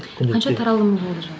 қанша таралымы болды жалпы